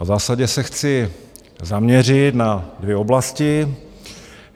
A v zásadě se chci zaměřit na dvě oblasti.